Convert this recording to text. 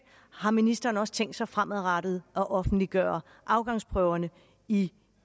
har ministeren også tænkt sig fremadrettet at offentliggøre afgangsprøverne i